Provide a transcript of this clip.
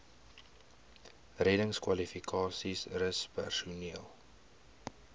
reddingskwalifikasies rus personeel